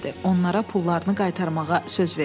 Onlara pullarını qaytarmağa söz verdi.